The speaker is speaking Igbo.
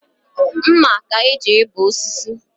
Mma ka e ji ebe osisi